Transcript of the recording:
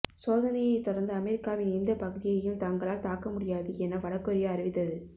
சோதனையை தொடர்ந்து அமெரிக்காவின் எந்த பகுதியையும் தங்களால் தாக்க முடியும் என வடகொரியா அறிவித்தது